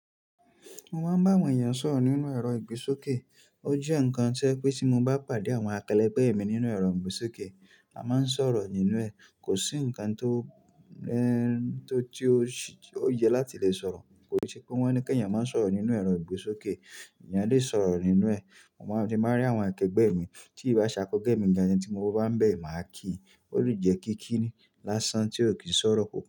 Mo máa ń bá àwọn èèyàn sọ̀rọ̀ nínú ẹ̀rọ ìgbésókè. Ó jẹ́ ǹnkan tí o je pé tí mo bá pàdé àwọn akẹlẹgbẹ̀mí nínú ẹ̀rọ ìgbésókè, a máa ń sọ̀rọ̀ nínú ẹ̀. Kò sí ǹkan tó ẹn tó ti ó yẹ láti lè sọ̀rọ̀. Kò sí pé wọ́n ní kí èèyàn máa ń sọ̀rọ̀ nínú ẹ̀rọ ìgbésókè, èèyàn lè sọ̀rọ̀ nínú ẹ̀. Mo máa ń tí n bá rí àwọn akẹgbẹ́ mi, tí ì bá ṣákẹgbẹ́ mi gan, ẹni tí mo bá bá ń bẹ̀, màá kí i. Ó lè jẹ́ kí kí ni lásán tí ò kì í sọ̀rọ̀ kò pọ̀